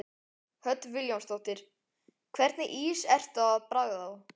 Hödd Vilhjálmsdóttir: Hvernig ís ertu að bragða á?